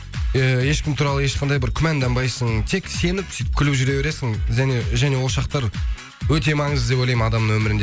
э ешкім туралы ешқандай бір күмәнданбайсың тек сеніп күліп жүре бересің және ол шақтар өте маңызды деп ойлаймын адамның өмірінде